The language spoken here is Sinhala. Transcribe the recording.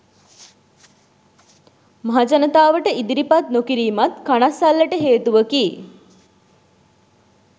මහ ජනතාවට ඉදිරිපත් නොකිරීමත් කණස්සල්ලට හේතුවකි.